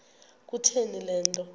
kutheni le nto